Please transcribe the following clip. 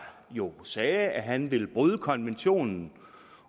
jo sagde at han ville bryde konventionen